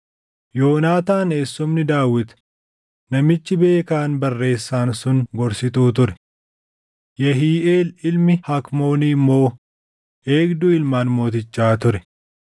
Yoonaataan eessumni Daawit namichi beekaan barreessaan sun gorsituu ture; Yehiiʼeel ilmi Hakmoonii immoo eegduu ilmaan mootichaa ture.